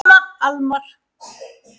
Almar